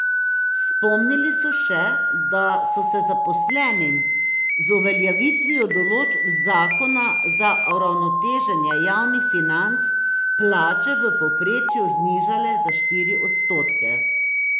Spomnili so še, da so se zaposlenim z uveljavitvijo določb zakona za uravnoteženje javnih financ plače v povprečju znižale za štiri odstotke.